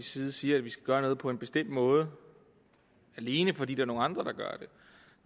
side siger at vi skal gøre noget på en bestemt måde alene fordi der er nogle andre der gør det